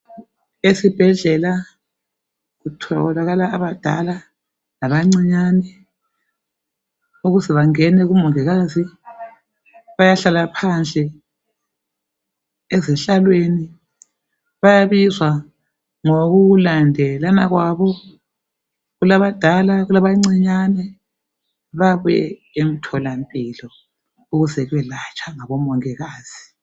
Esibhedlela kutholaka abadala labancinyane. Ukuze bangene kumongikazi bayahlala phandle ezihlalweni bayabizwa ngokulandelana kwabo. Kulabadala kulabancinyane babuye emtholampilo ukuze belatshwe ngabomongikazi.